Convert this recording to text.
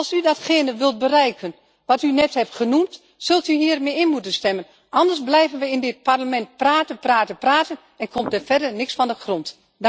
Als u datgene wilt bereiken wat u net heeft genoemd, zult u hiermee in moeten stemmen. Anders blijven we in dit Parlement praten, praten, praten, en komt er verder niks van de grond.